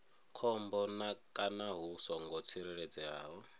khombo kana hu songo tsireledzeaho